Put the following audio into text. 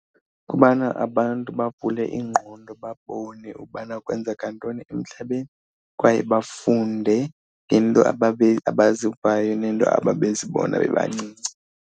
Kubana abantu bavule iingqondo babone ubana kwenzeka ntoni emhlabeni kwaye bafunde ngeento abazivayo neento ababezibona bebancinci.